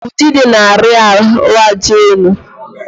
Udide na-ari ahụaja elu.